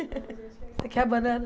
Quer banana.